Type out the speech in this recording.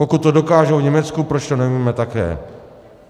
Pokud to dokážou v Německu, proč to neumíme také?